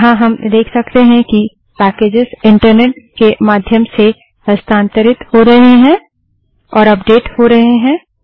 यहाँ हम देख सकते हैं कि पैकेजस इंटरनेट के माध्यम से हस्तांतरित किये जा सकते हैं और अपडेटेड हो सकते हैं